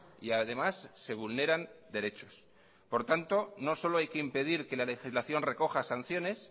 y además se vulneran derechos por tanto no solo hay que impedir que la legislación recoja sanciones